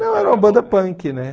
Não, era uma banda punk, né?